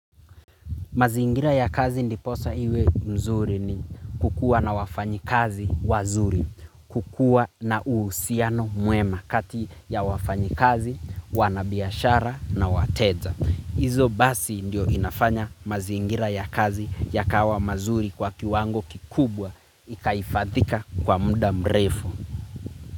Mazingira ya kazi ndiposa iwe mzuri ni kukua na wafanyikazi wazuri. Kukua na uusiano mwema, kati ya wafanyikazi wanabiashara na wateja. Izo basi, ndio inafanya mazingira ya kazi yakawa mazuri kwa kiwango kikubwa. Ikaihifadhika kwa muda mrefu.